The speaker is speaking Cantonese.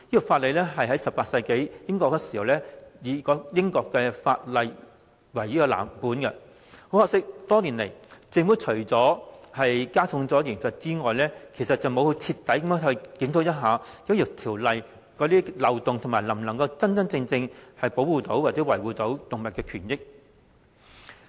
《條例》是以18世紀英國法律為藍本，多年來政府除了加重罰則外，並無徹底檢討《條例》的漏洞，亦未有考慮法例能否真正保護動物的權益。